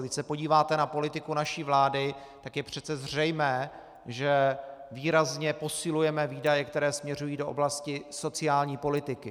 Když se podíváte na politiku naší vlády, tak je přece zřejmé, že výrazně posilujeme výdaje, které směřují do oblasti sociální politiky.